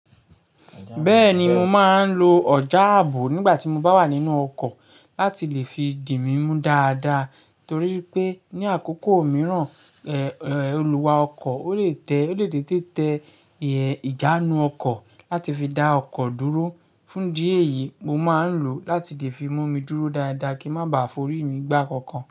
Bẹ́ẹ̀ni, mo máa ń lo ọjà ààbò nígbà tí mo bá wà nínú ọkọ̀ láti lè fi di mí mú dáadáa. Torí pé ní àkókò mìíràn, ẹ̀, olùwá ọkọ̀ ó lè tẹ́, ó lè dede tẹ ìjánu ọkọ̀ láti fi dá ọkọ̀ dúró. Fún idi eyìí, mo máa ń lò ó láti lè fi mú mi dúró dáadáa kí n má ba forí mi gbà á kankan.